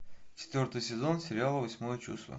четвертый сезон сериала восьмое чувство